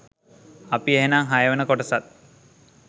අපි එහෙනම් හයවන කොටසත්